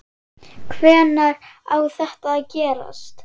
Hvenær á þetta að gerast?